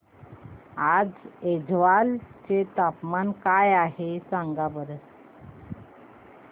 आज ऐझवाल चे तापमान काय आहे सांगा बरं